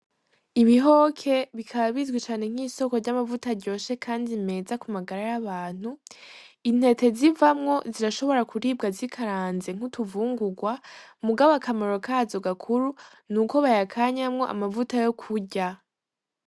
Ibihoke bikaba bizwi cane nk'isoko ry'amavuta aryoshe kandi meza ku magara y'abantu, intete zivamwo zirashobora kuribwa zikaranze nk'utuvungurwa ,mugabo akamaro kazo gakuru nuko bayakanyamwo amavuta yo kurya.